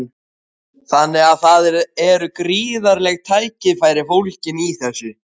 Þannig að það eru gríðarleg tækifæri fólgin í þessu?